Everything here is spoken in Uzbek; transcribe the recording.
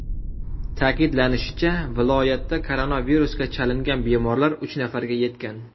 Ta’kidlanishicha, viloyatda koronavirusga chalingan bemorlar uch nafarga yetgan.